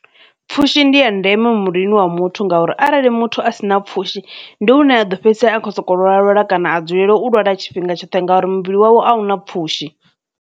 Pfhushi ndi ya ndeme muvhilini wa muthu ngauri arali muthu a si na pfhushi ndi u ne a ḓo fhedzisela a kho soko lwala kana a dzulela u lwala tshifhinga tshoṱhe ngauri muvhili wawe a una pfhushi.